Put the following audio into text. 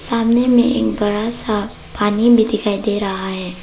सामने में एक बड़ा सा पानी भी दिखाई दे रहा है।